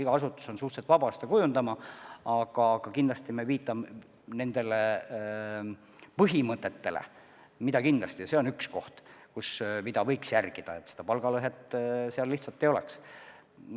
Iga asutus on suhteliselt vaba oma poliitikat kujundama, aga kindlasti me viitame ka sellele põhimõttele, et võiks jälgida, et suurt palgalõhet lihtsalt ei oleks.